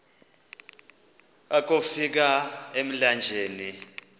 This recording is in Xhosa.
akofi ka emlanjeni